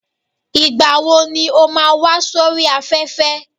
Ìgbà wo ni ó máa wá sóri afẹ́fẹ́